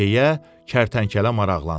deyə kərtənkələ maraqlandı.